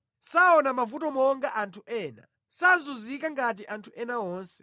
Saona mavuto monga anthu ena; sazunzika ngati anthu ena onse.